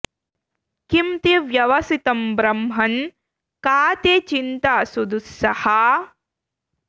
किं ते व्यवसितं ब्रह्मन् का ते चिन्ता सुदुस्सहा